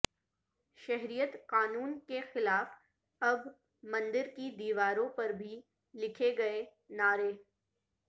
شہریت قانون کے خلاف اب مندر کی دیواروں پر بھی لکھے گئے نعرے